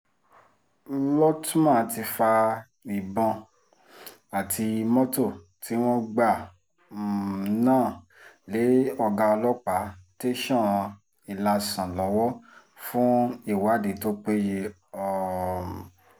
lótma ti fa ìbọn àti mọ́tò tí wọ́n gbà um náà lé ọ̀gá ọlọ́pàá tẹ̀sán ilásàn lọ́wọ́ fún ìwádìí tó péye um